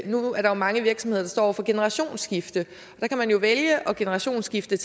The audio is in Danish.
nu er der mange virksomheder der står over for generationsskifte og der kan man jo vælge at generationsskifte